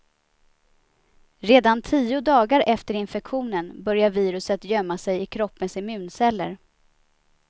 Redan tio dagar efter infektionen börjar viruset gömma sig i kroppens immunceller.